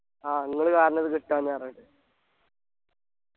ആ ങ്ങള് കാരണ അത് കിട്ടാഞ്ഞെ പറഞ്ഞിട്ട്